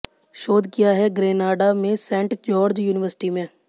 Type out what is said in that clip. शोध किया है ग्रेनाडा में सैंट जॉर्ज यूनिवर्सिटी में